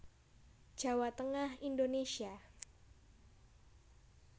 Jawa Tengah Indonésia